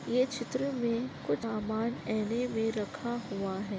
ये चित्र मे कुछ सामान आईने मे रखा हुआ है।